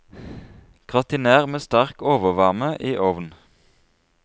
Gratinér med sterk overvarme i ovn.